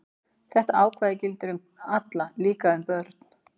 Þetta ákvæði gildir um alla, líka um börn.